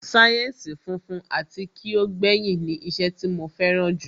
sáyẹ́ǹsì funfun ati ki o gbẹyin ni iṣẹ́ tí mo fẹ́ràn jù